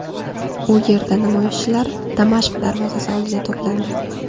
U yerda namoyishchilar Damashq darvozasi oldida to‘plandi.